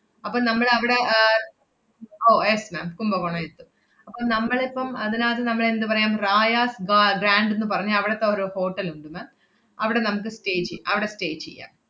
അപ്പം നമ്മളവടെ ഏർ ഓ yes ma'am കുംഭകോണം എത്തും. അപ്പം നമ്മളിപ്പം അതിനാത്ത് നമ്മൾ എന്തു പറയാം റായാസ് വ~ ഗ്രാൻറ് ~ന്ന് പറഞ്ഞ അവടത്തെ ഒരു hotel ഉണ്ട് ma'am അവടെ നമ്മക്ക് stay ചെ~ അവടെ stay ചെയ്യാം.